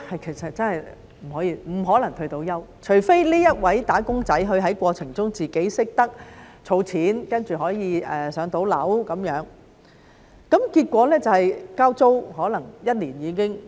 其實真的不可能退休，除非這位"打工仔"在過程中懂得儲錢，然後可以"上樓"，否則便是可能交租一年便已經用完。